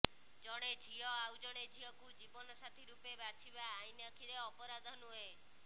ଜଣେ ଝିଅ ଆଉ ଜଣେ ଝିଅକୁ ଜୀବନସାଥୀ ରୂପେ ବାଛିବା ଆଇନ୍ ଆଖିରେ ଅପରାଧ ନୁହେଁ